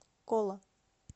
кола